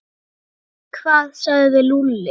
Hvað sagði Lúlli?